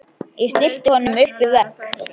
Ég stillti honum upp við vegg.